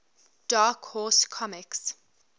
dark horse comics